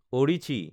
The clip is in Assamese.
অদিচ্ছি